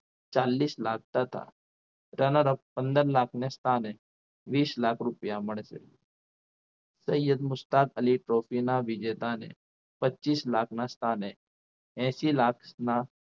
ચાલીસ લાખ તથા runner up પંદર લાખની સ્થાન વીસ લાખ રૂપિયા મળશે તૈયબ મુસ્તાક અલી trophy ના વિજેતાને પચીસ લાખના સ્થાને એસી લાખના